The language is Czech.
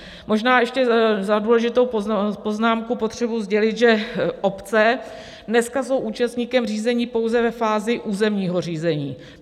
Možná ještě za důležitou poznámku potřebuji sdělit, že obce dneska jsou účastníkem řízení pouze ve fázi územního řízení.